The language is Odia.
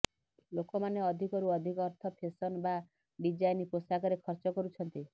ଲୋକମାନେ ଅଧିକରୁ ଅଧିକ ଅର୍ଥ ଫେସନ୍ ବା ଡିଜାଇନ୍ ପୋଷାକରେ ଖର୍ଚ୍ଚ କରୁଛନ୍ତି